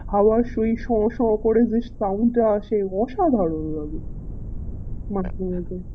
হাওয়ার সেই সো সো করে যেই sound টা আসে অসাধারন লাগে মাঝে মাঝে